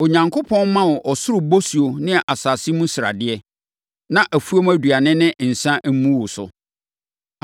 Onyankopɔn mma wo ɔsoro bosuo ne asase mu sradeɛ, na afuom aduane ne nsã mmu wo so.